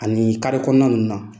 Ani kɔnɔna ninnu na.